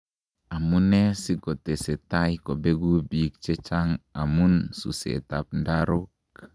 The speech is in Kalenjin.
Amune asikotesetai kobeku biik chechang amun suset ab ndarok